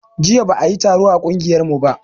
Jiya ba a yi taro a ƙungiyar mu ba